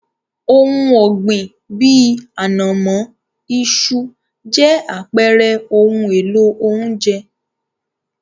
Ohun ọ̀gbìn bíi, ànàmọ́, iṣu, jẹ́ àpẹrẹ ohun èlò oúnjẹ.